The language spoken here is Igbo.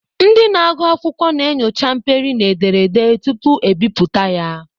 Ndị na-agụ akwụkwọ na-enyocha mperi na ederede tupu ebipụta ya.